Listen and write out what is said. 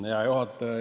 Hea juhataja!